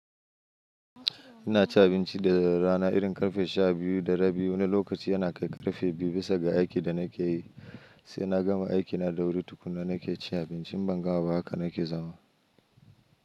Ina ci abinci da rana irin karfe sha biyu da rabi. Wani lokaci yana kai karfe biyu bisa ga aikin da nake yi, sai na gama aikina da wuri tukunna nake cin abinci ban ga ba haka nake zama.